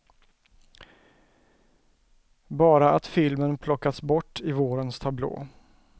Bara att filmen plockats bort i vårens tablå.